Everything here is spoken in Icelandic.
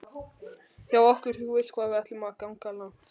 hjá okkur þú veist hvað ætlum við að ganga langt